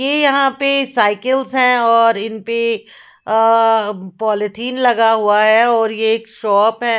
ये यहाँ पे साइकिल्स हैं और इनपे अ एं पॉलीथीन लगा हुआ है और ये एक शॉप है।